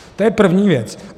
To je první věc.